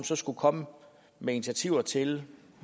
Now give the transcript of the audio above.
som skulle komme med initiativer til